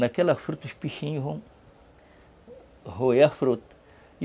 Naquela fruta, os peixinhos vão roer a fruta.